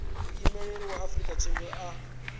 muimeli wa afrika tshipembe a